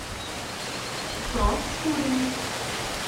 проскурине